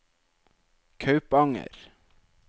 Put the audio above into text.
Kaupanger